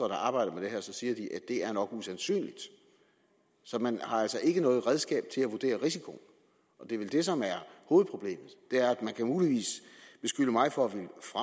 der arbejder med det her så siger de at det nok er usandsynligt så man har altså ikke noget redskab til at vurdere risikoen og det er vel det som er hovedproblemet man kan muligvis beskylde mig for